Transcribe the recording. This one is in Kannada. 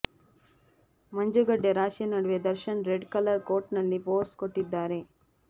ಮಂಜುಗಡ್ಡೆ ರಾಶಿ ನಡುವೆ ದರ್ಶನ್ ರೆಡ್ ಕಲರ್ ಕೋಟ್ನಲ್ಲಿ ಪೋಸ್ ಕೊಟ್ಟಿದ್ದಾರೆ